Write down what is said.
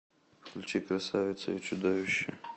включи красавица и чудовище